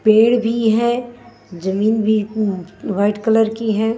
पेड़ भी है जमीन भी वाइट कलर की है।